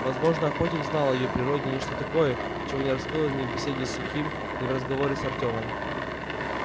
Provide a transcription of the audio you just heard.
возможно охотник знал о её природе нечто такое чего не раскрыл ни в беседе с сухим ни в разговоре с артёмом